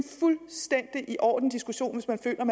fuldstændig i orden diskussion hvis man føler